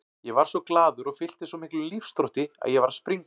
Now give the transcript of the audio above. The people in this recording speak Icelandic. Ég varð svo glaður og fylltist svo miklum lífsþrótti að ég var að springa.